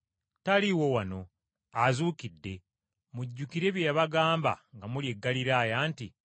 Taliiwo wano, azuukidde! Mujjukire bye yabagamba nga muli e Ggaliraaya nti,